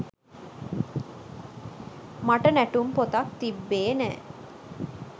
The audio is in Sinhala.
මට නැටුම් පොතක් තිබ්බේ නෑ